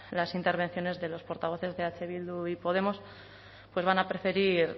las intervenciones de los portavoces de eh bildu y podemos pues van a preferir